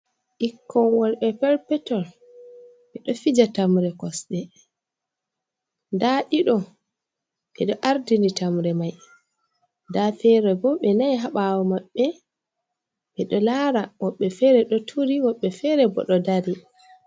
ɓikkoy worɓe perpoton ɓe ɗo fija tamre kosɗe, ndaa ɗiɗo ɓe ɗo ardini tamre may, ndaa feere bo ɓe nay haa ɓaawo maɓɓe, ɓe ɗo laara, woɓɓe feere ɗo turi woɓɓe feere boo ɗo dari.